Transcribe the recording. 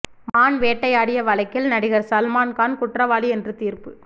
மான் வேட்டையாடிய வழக்கில் நடிகர் சல்மான் கான் குற்றவாளி என்று தீர்ப்பு